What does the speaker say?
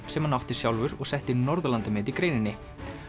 sem hann átti sjálfur og setti Norðurlandamet í greininni